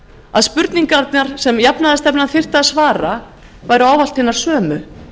að spurningarnar sem jafnaðarstefnan þyrfti að svara væru ávallt hinar sömu